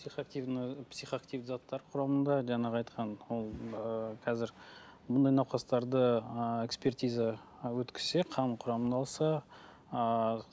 психоактивті заттар құрамында жаңағы айтқан ол ы қазір бұндай науқастарды ы экспертиза ы өткізсе қанның құрамын алса ыыы